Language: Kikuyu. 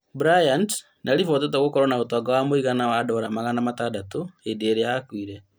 Bryant nĩaribotetwo gũkorwo na ũtonga wa mũigana wa Dora magana matandatũ hĩndĩ ĩrĩa akuire